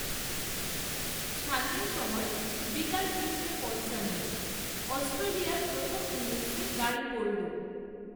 স্থানীয় সময় বিকাল, তিনটে, পঞ্চান্ন, অস্ট্রেলিয়ার প্রথম, ইনিংসে দাড়ি পড়ল